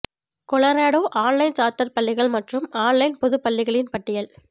Colorado online charter பள்ளிகள் மற்றும் online பொது பள்ளிகளின் பட்டியல்